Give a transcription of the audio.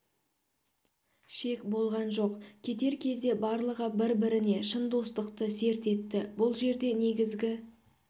шек болған жоқ кетер кезде барлығы бір біріне шын достықты серт етті бұл жерде негізгі